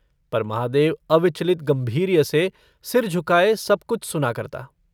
पर महादेव अविचलित गम्भीर्य से सिर झुकाये सब कुछ सुना करता।